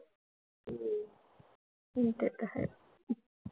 हम्म ते तर आहे.